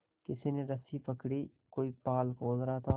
किसी ने रस्सी पकड़ी कोई पाल खोल रहा था